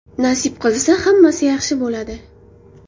Nasib qilsa, hammasi yaxshi bo‘ladi.